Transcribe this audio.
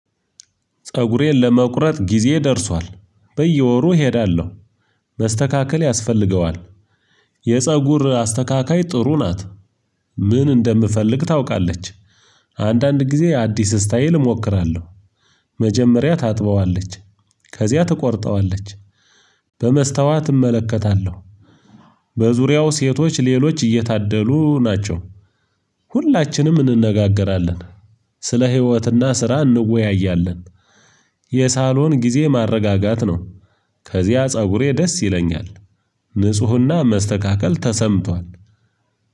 ፀጉሬን ለመቁረጥ ጊዜ ደርሷል በየወሩ እሄዳለሁ መስተካከል ያስፈልገዋል። የፀጉር አስተካካይ ጥሩ ናት። ምን እንደምፈልግ ታውቃለች። አንዳንድ ጊዜ አዲስ ስታይል እሞክራለሁ። መጀመሪያ ታጥበዋለች ከዚያ ትቆርጠዋለች። በመስታዋት እመለከታለሁ። በዙሪያው ሴቶች ሌሎች እየታደሉ ናቸው። ሁላችንም እንነጋገራለን። ስለ ህይወትና ስራ እንወያያለን። የሳሎን ጊዜ ማረጋጋት ነው። ከዚያ ፀጉሬ ደስ ይለኛል። ንፁህና መስተካከል ተሰምቷል።